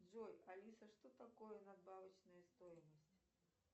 джой алиса что такое надбавочная стоимость